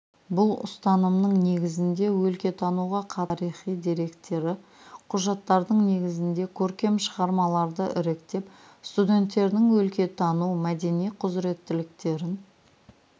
бұл ұстанымның негізінде өлкетануға қатысты тарихи деректі құжаттардың негізінде көркем шығармаларды іріктеп студенттердің өлкетану мәдени құзыреттіліктерін